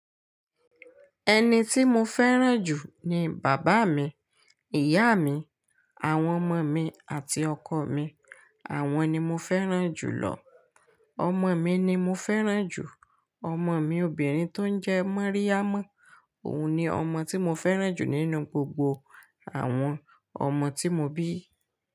Ẹni tí mo fẹ́ràn jù ni bàbá mi, ìyá mi, àwọn ọmọ mi àti ọkọ mi. Àwọn ni mo fẹ́ràn jù lọ. Ọmọ mi ni mo fẹ́ràn jù. Ọmọ mi obìnrin tó ń jẹ́ Mariam. Òun ni ọmọ tí mo fẹ́ràn jù nínú gbogbo àwọn ọmọ tí mo bí.